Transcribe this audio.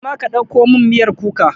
Koma ka ɗauko min miyar kuka!